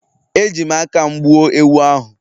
Eji m aka m gbuo ewu ahụ